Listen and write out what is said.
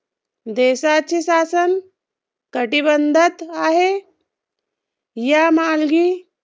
देशाचे शासन, घटीबंधत आहे या मालगी